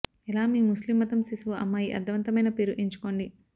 ఎలా మీ ముస్లిం మతం శిశువు అమ్మాయి అర్ధవంతమైన పేరు ఎంచుకోండి